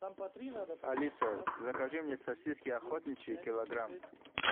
алиса закажи мне сосиски охотничьи килограмм